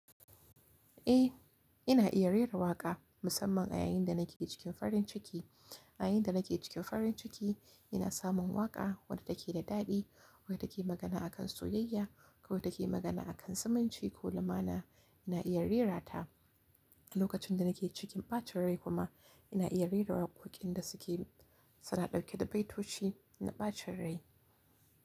Eh, ina iya rera waƙa musamman a yayin da nake cikin farin ciki. A yayin da nake cikin farin ciki ina samun waƙa wadda take da daɗi, wadda ke magana akan soyayya ko wadda ke magana akan zumunci ko lumana ina iya rera ta. Lokacin da nake cikin ɓacin rai kuma ina iya rera waƙoƙin da suke tana dauke da baitoci na ɓacin rai.